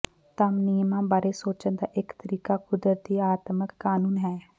ਧਮ ਨਿਯਮਾਂ ਬਾਰੇ ਸੋਚਣ ਦਾ ਇਕ ਤਰੀਕਾ ਕੁਦਰਤੀ ਆਤਮਕ ਕਾਨੂੰਨ ਹੈ